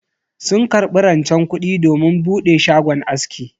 Sun karbi rancen kudi domin bude shagon aski.